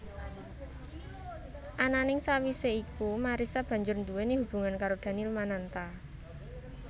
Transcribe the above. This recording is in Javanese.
Ananing sawisé iku Marissa banjur nduwèni hubungan karo Daniel Mananta